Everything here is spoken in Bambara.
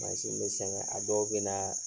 Mansi be sɛŋɛ, a dɔw be naa